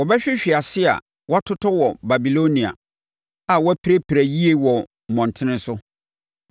Wɔbɛhwehwe ase a wɔatotɔ wɔ Babilonia, a wɔapirapira yie wɔ ne mmɔntene so.